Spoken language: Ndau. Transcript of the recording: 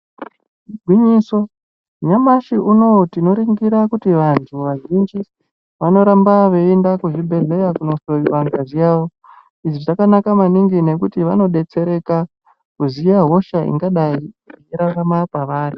Igwinyiso, nyamashi unowu tinoringira ,kuti vanhu vazhinji , vanoramba veienda kuzvibhedhleya kunohloiwa ngazi yavo. Izvi zvakanaka maningi nekuti vanodetsereka, kuziya hosha ingadai irarama pavari.